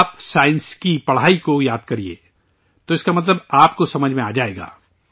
آپ سائنس کی پڑھائی کو یاد کیجئے، تو اس کا مطلب آپ کو سمجھ آ جائے گا